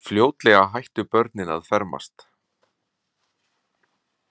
Fljótlega hættu börnin að fermast.